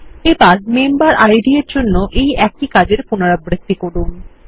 এবার মেম্বেরিড এর জন্য একই কাজের পুনরাবৃত্তি করুন